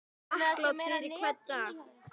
Þakklát fyrir hvern dag.